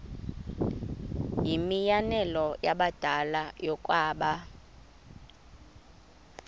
yimianelo yabadala yokaba